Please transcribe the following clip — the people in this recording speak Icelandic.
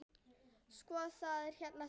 Sko, það er hérna þannig.